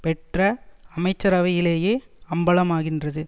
பெற்ற அமைச்சரவையிலேயே அம்பலமாகின்றது